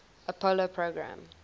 apollo program